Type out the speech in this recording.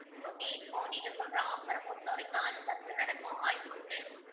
இப்போ நீங்க சொல்ற offer அ பொறுத்தவரைக்கும் அது first நடக்கவும் வாய்ப்பு உண்டு